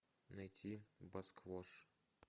найти басквош